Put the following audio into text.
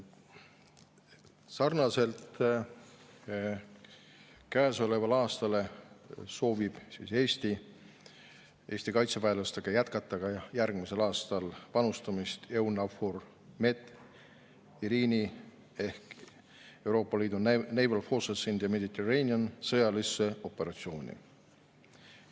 Sarnaselt käesoleva aastaga soovib Eesti ka järgmisel aastal jätkata Eesti kaitseväelastega panustamist EUNAVFOR Med/Irini ehk European Union Naval Force Mediterranean/Irini sõjalisse operatsiooni.